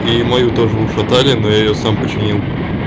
и мою тоже ушатали но я её сам починил